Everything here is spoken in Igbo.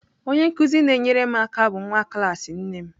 Onye nkụzi na-enyere m aka bụ nwa klas nne m.